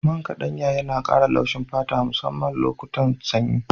Man ƙaɗanya yana ƙara laushin fata musamman lokutan sanyi.